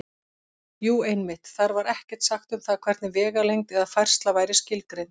Jú, einmitt: Þar var ekkert sagt um það hvernig vegalengd eða færsla væri skilgreind!